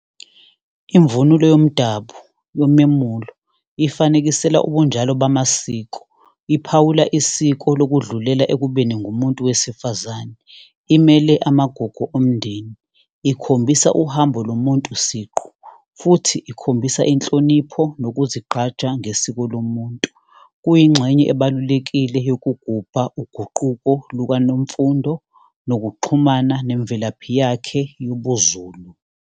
Imvunulo yomdabu yomemulo ifanekisela ubunjalo bamasiko. Iphawula isiko lokudlulela ekubeni ngumuntu wesifazane, imele amagugu omndeni, ikhombisa uhambo lomuntu siqu, futhi ikhombisa inhlonipho nokuzigqaja ngesiko lomuntu. Kuyingxenye ebalulekile yokugubha uguquko lukaNmfundo nokuxhumana nemvelaphi yakhe yobuZulu.